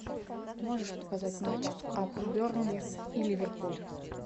можешь показать матч апл бернли и ливерпуль